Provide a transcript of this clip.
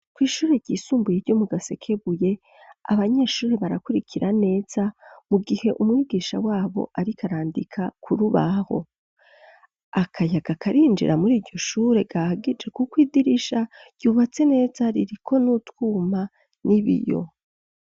Kw'ishure ryisumbuye, ryo mu Gasekebuye, abanyeshure barakurikira neza, mu gihe umwigisha wabo, ariko arandika ku rubaho; akayaga karinjira muri iryo shure, gahagije, kuko, idirisha ryubatse neza, ririko n'utwuma, n'ibiyo.